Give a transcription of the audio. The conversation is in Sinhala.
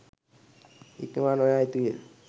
ඉක්මවා නොයා යුතුය